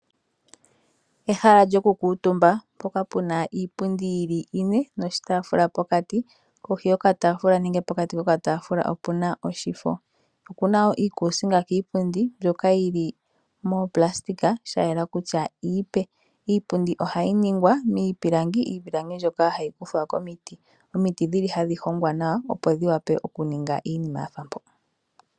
Ehala lyokukuutumba mpoka puna iipundi yili ine noshitaafula pokati kohi yokataafula nenge pokati kokataafula opuna oshifo. Okuna wo iikuusinga kiipundi mbyoka yili moonayilona shayela kutya iipe. Iipundi ohayi ningwa miipilangi mbyoka hayi kuthwa komiti. Omiti odhili hadhi hongwa nawa opo dhivule okuninga iinima yafa mpo.